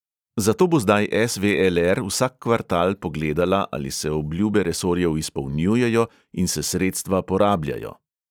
Zato bo zdaj es|ve|el|er vsak kvartal pogledala, ali se obljube resorjev izpolnjujejo in se sredstva porabljajo.